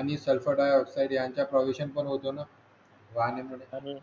आणि sulphur dioxide यांचा प्रदूषण पण होतो न